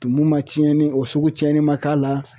Tumu ma cɛnni o sugu cɛnni man k'a la